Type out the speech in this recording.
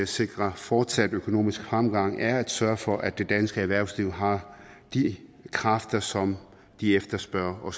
sikre fortsat økonomisk fremgang på er at sørge for at det danske erhvervsliv har de kræfter som de efterspørger og